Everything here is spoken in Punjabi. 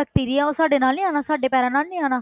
bacteria ਉਹ ਸਾਡੇ ਨਾਲ ਨੀ ਆਉਣਾ ਸਾਡੇ ਪੈਰਾਂ ਨਾਲ ਨੀ ਆਉਣਾ।